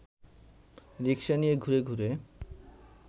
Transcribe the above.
রিক্সা নিয়ে ঘুরে ঘুরে